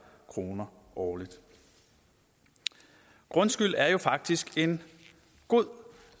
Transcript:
kroner årligt grundskyld er jo faktisk en god